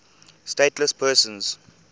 stateless persons